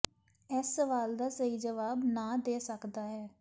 ਇਸ ਸਵਾਲ ਦਾ ਸਹੀ ਜਵਾਬ ਨਾ ਦੇ ਸਕਦਾ ਹੈ